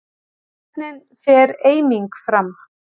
Hvernig fer eiming fram?